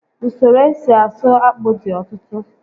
Usoro esi asụ akpụ dị ọtụtụ